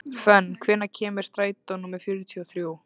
Fönn, hvenær kemur strætó númer fjörutíu og þrjú?